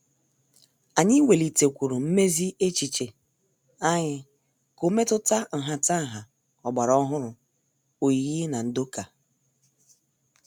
Anyị welitekwuru mmezi echiche anyị ka ọ metuta nhataha ọgbara ọhụrụ oyiyi na ndoka.